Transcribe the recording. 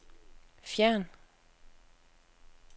fjern